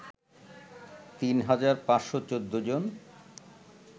তিন হাজার ৫১৪ জন